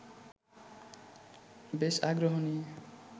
বেশ আগ্রহ নিয়ে